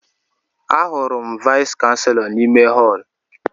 Ahụrụ m Vais kanselọ n'ime họl